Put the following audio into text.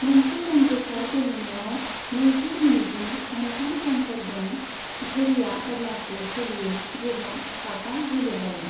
मोनसे रोंग'सार गेलेनायाव नैजि मिनिटनि मोन्थाम समफोर दं, घोरिया अब्लासो सोलियो जेब्ला पाकआ गेलेजायो।